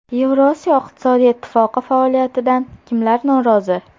Yevrosiyo iqtisodiy ittifoqi faoliyatidan kimlar norozi?